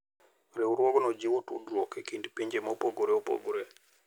Riwruogno jiwo tudruok e kind pinje mopogore opogore.